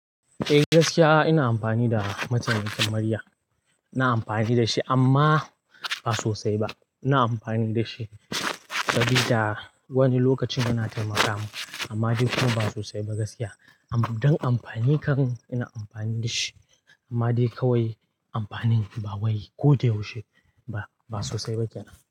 Eh gaskiya ina amfani da mataimakin murya. Insa amfani da shi amma ba sosai ba. Ina amfani da shi saboda wani lokacin yana taimaka mun amma dai kuma ba sosai ba gaskiya. Don amfanin kam ina amfani da shi amma dai kawai amfanin ba wai ko da yaushe ba. Ba sosai ba kenan.